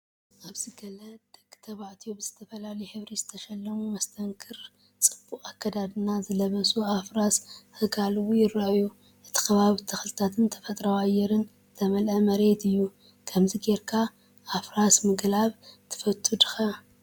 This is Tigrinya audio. ኣብዚ ገለ ደቂ ተባዕትዮ ብዝተፈላለየ ሕብሪ ዝተሸለሙ መስተንክርን ጽቡቕ ኣከዳድና ዝለበሱን ኣፍራስ ክጋልቡ ይረኣዩ። እቲ ከባቢ ብተክልታትን ተፈጥሮኣዊ ኣየርን ዝተመልአ መሬት እዩ። ከምዚ ጌርካ ኣብ ኣፍራስ ምግላብ ትፈቱ ዲኻ?